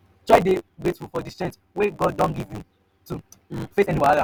try dey grateful for di strength wey god don give you to um face any wahala.